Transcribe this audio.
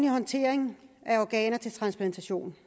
håndtering af organer til transplantation